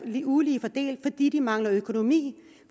ulige fordelt fordi de mangler økonomi